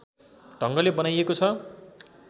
ढङ्गले बनाइएको छ